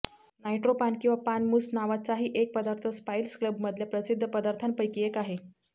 nitro paan किंवा paan mousse नावाचाही एक पदार्थ स्पाईसक्लबमधल्या प्रसिद्ध पदार्थांपैकी एक आहे